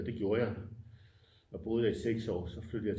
Det gjorde jeg der boede jeg i 6 år så flyttede jeg